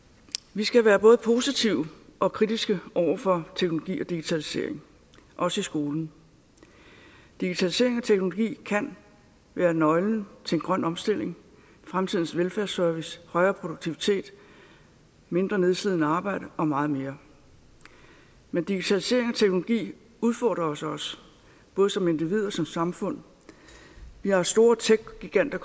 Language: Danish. vi skal være både positive og kritiske over for teknologi og digitalisering også i skolen digitalisering og teknologi kan være nøglen til en grøn omstilling fremtidens velfærdsservice højere produktivitet mindre nedslidende arbejde og meget mere men digitaliseringen og teknologien udfordrer os også både som individer og som samfund vi har store techgiganter